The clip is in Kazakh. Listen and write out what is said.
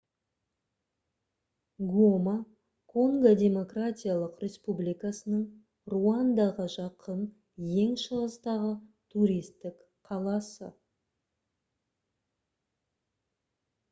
гома конго демократиялық республикасының руандаға жақын ең шығыстағы туристік қаласы